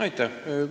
Aitäh!